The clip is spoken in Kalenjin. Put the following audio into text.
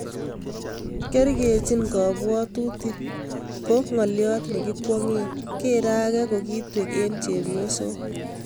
Kekerchii kabwatutiik ko ng'oliot nekikwong'e, geere age kokitwek eng' chepyoosook